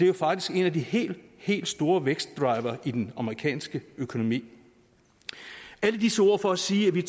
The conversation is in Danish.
jo faktisk en af de helt helt store vækstdrivere i den amerikanske økonomi alle disse ord er for at sige at vi